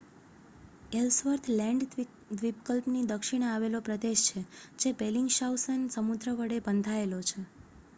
Ellsworth Land દ્વીપકલ્પની દક્ષિણે આવેલો પ્રદેશ છે જે બેલિંગશાઉસેન સમુદ્ર વડે બંધાયેલો છે